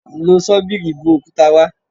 Lo ṣọ́bìrì bu òkúta wá.